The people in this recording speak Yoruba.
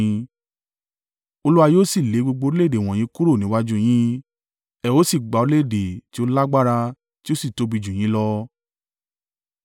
Olúwa yóò sì lé gbogbo orílẹ̀-èdè wọ̀nyí kúrò níwájú u yín. Ẹ ó sì gba orílẹ̀-èdè tí ó lágbára tí ó sì tóbi jù yín lọ.